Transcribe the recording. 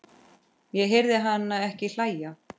Ég heyri hana ekki hlæja